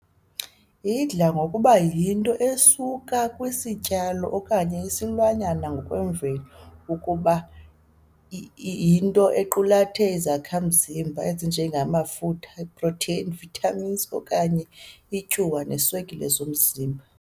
Idla ngokuba yinto esuka kwisityalo okanye isilwanyana ngokwemveli, ukuba yinto equlathe izakha mzimba ezinje ngamafutha, iiproteyini, iivithamini, okanye iityuwa neeswekile zomzimba .